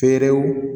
Feerew